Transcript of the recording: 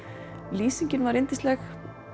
lýsingin var yndisleg